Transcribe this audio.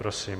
Prosím.